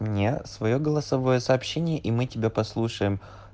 мне своё голосовое сообщение и мы тебя послушаем